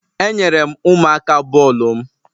Enyere m ụmụaka bọọlụ m.